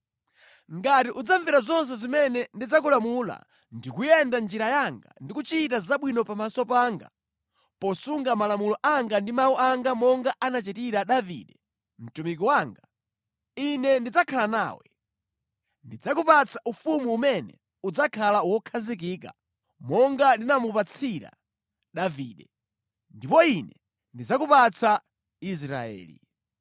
Ngati udzamvera zonse zimene ndidzakulamula ndi kuyenda mʼnjira yanga ndi kuchita zabwino pamaso panga, posunga malamulo anga ndi mawu anga monga anachitira Davide mtumiki wanga, Ine ndidzakhala nawe. Ndidzakupatsa ufumu umene udzakhala wokhazikika monga ndinamupatsira Davide, ndipo Ine ndidzakupatsa Israeli.